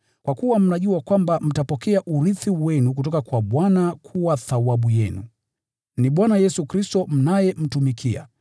kwa kuwa mnajua kwamba mtapokea urithi wenu kutoka kwa Bwana ukiwa thawabu yenu. Ni Bwana Yesu Kristo mnayemtumikia.